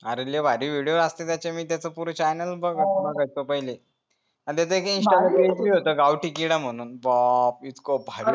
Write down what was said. अरे लय भारी video असते त्याचे मी त्याचा पुरा channel बघायचो पहिले आणि त्याचा एक insta ला page होता गावठी कीडा म्हणून